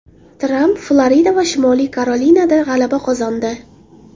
Tramp Florida va Shimoliy Karolinada g‘alaba qozondi.